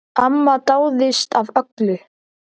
Amma dáðist að öllu.